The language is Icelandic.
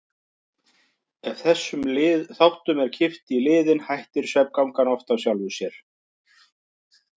Ef þessum þáttum er kippt í liðinn hættir svefngangan oft af sjálfu sér.